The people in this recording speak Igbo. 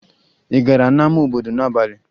Ị gara n'ama obodo n'abalị?